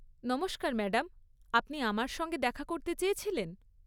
নমস্কার ম্যাডাম, আপনি আমার সঙ্গে দেখা করতে চেয়েছিলেন?